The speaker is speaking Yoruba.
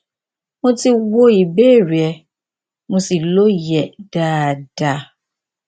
mo ti wo ìbéèrè rẹ mo sì lóye rẹ dáadáa